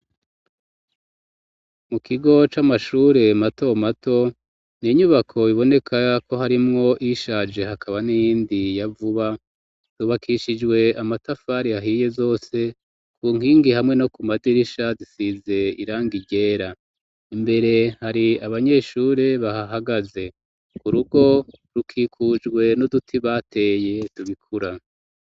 Mu kigo c'amashure mato mato, ni inyubako iboneka ko harimwo iyishaje ,hakaba n'iyindi yavuba yubakishijwe amatafari ahiye, zose ku nkingi hamwe no ku madirisha zisize irangi ryera ,imbere hari abanyeshure bahahagaze ,ku rugo rukikujwe n'uduti bateye tubikura.